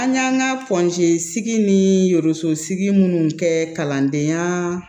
An y'an ka sigi nii sosigi minnu kɛ kalandenyaa